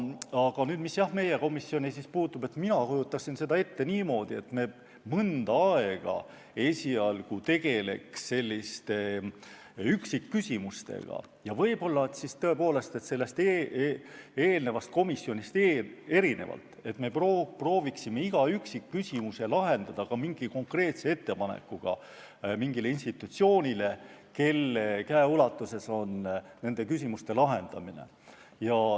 Aga mis meie komisjoni puutub, siis mina kujutan seda ette niimoodi, et me mõnda aega esialgu tegeleme üksikküsimustega ja siis võib-olla tõepoolest eelmisest komisjonist erinevalt proovime iga üksikküsimuse lahenduseks teha konkreetse ettepaneku mingile institutsioonile, kelle käeulatuses on nende küsimuste lahendamine.